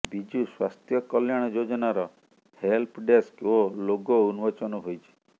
ବିଜୁ ସ୍ୱାସ୍ଥ୍ୟ କଲ୍ୟାଣ ଯୋଜନାର ହେଲ୍ପ ଡେସ୍କ ଓ ଲୋଗୋ ଉନ୍ମୋଚନ ହୋଇଛି